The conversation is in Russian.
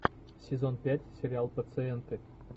сезон пять сериал пациенты